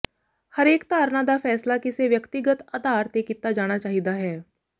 ਹਰੇਕ ਧਾਰਨਾ ਦਾ ਫ਼ੈਸਲਾ ਕਿਸੇ ਵਿਅਕਤੀਗਤ ਆਧਾਰ ਤੇ ਕੀਤਾ ਜਾਣਾ ਚਾਹੀਦਾ ਹੈ